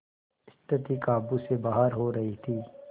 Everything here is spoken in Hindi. स्थिति काबू से बाहर हो रही थी